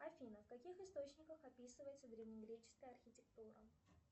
афина в каких источниках описывается древнегреческая архитектура